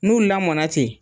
N'u lamɔna ten